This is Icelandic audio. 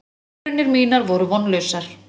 Tilraunir mínar voru vonlausar.